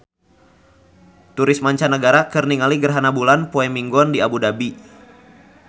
Turis mancanagara keur ningali gerhana bulan poe Minggon di Abu Dhabi